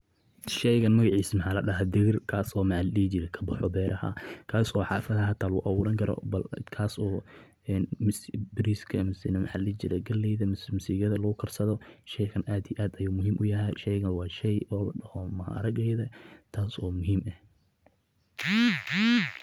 sheegan magaciisa maxaa la dhaha digir kaa soomaalid ka baxo beel kaas oo xaafada la ula garo bal kaas oo bariiskeena macallin jiray galleyda mas-uuliyada lagu karsado sheekhan aada aada ayuu muhiim u yahay taas oo muhiim ah.